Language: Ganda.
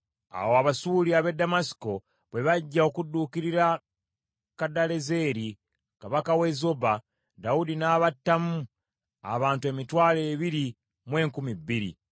Awo Abasuuli ab’e Ddamasiko bwe bajja okudduukirira Kadalezeri kabaka w’e Zoba, Dawudi n’abattamu abantu emitwalo ebiri mu enkumi bbiri.